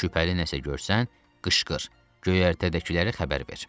Şübhəli nəsə görsən, qışqır, göyərtədəkiləri xəbər ver.